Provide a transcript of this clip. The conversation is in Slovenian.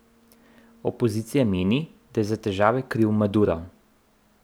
Opozicija meni, da je za težave kriv Maduro.